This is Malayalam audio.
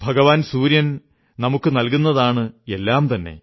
ഭഗവാൻ സൂര്യൻ നമുക്കു നല്കുന്നതാണ് എല്ലാം തന്നെ